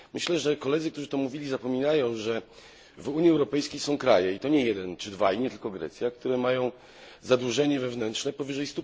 Myślę, że koledzy, którzy to mówili, zapominają, że w Unii Europejskiej są kraje i to nie jeden czy dwa i nie tylko Grecja które mają zadłużenie wewnętrzne powyżej